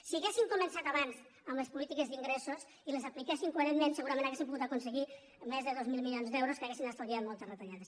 si ha·guessin començat abans amb les polítiques d’ingres·sos i les apliquessin coherentment segurament hau·rien pogut aconseguir més de dos mil milions d’euros que haurien estalviat moltes retallades